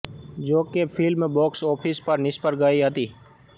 જો કે film box office પર નિષ્ફળ ગઈ હતી